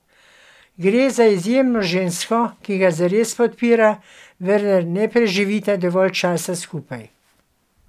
Gre za izjemno žensko, ki ga zares podpira, vendar ne preživita dovolj časa skupaj.